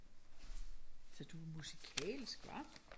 Så du er musikalsk hva?